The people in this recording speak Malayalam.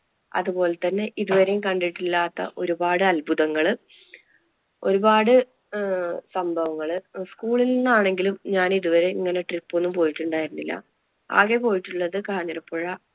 അതുപോലെ തന്നെ ഇതുവരെ കണ്ടിട്ടില്ലാത്ത ഒരുപാട് അത്ഭുതങ്ങള് ഒരുപാട് അഹ് സംഭവങ്ങള് school ൽ നിന്ന് ആണെങ്കിലും ഞാൻ ഇതുവരെ ഇങ്ങനെ trip ഒന്നും പോയിട്ടുണ്ടായിരുന്നില്ല. ആകെ പോയിട്ടുള്ളത് കാഞ്ഞിരപ്പുഴ,